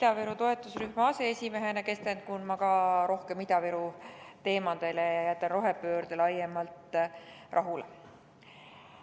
Ida-Virumaa toetusrühma aseesimehena keskendun ma ka rohkem Ida-Viru teemadele ja jätan rohepöörde laiemalt rahule.